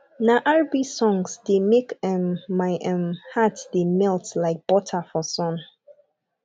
na rb songs dey make um my um heart dey melt like butter for sun